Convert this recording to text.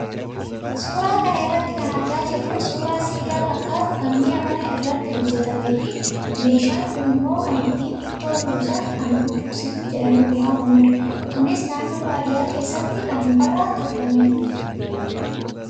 Suuraa kana irraa kan argaa jirru suuraa siidaa fakkaatu kan mi'a manaa irratti hojjatamee fi meeshaan kunimmoo kan ittiin ittoo buusan kan budduuqsituu jedhamuun waamamudha. Kunis naannoo baadiyyaa keessatti kan mukarraa tolfamedha.